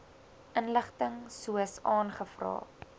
inligting soos aangevra